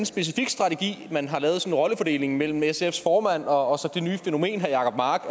specifik strategi man har lavet altså sådan en rollefordeling mellem sfs formand og og så det nye fænomen herre jacob mark